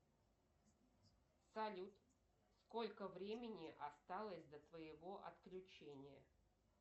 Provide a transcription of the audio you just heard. салют сколько времени осталось до твоего отключения